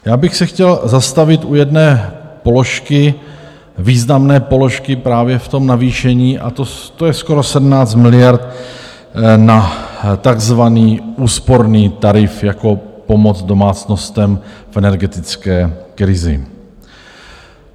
Já bych se chtěl zastavit u jedné položky, významné položky právě v tom navýšení, a to je skoro 17 miliard na takzvaný úsporný tarif jako pomoc domácnostem v energetické krizi.